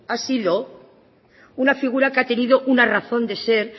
una figura que ha tenido una razón de ser